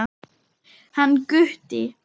Hann Gutti?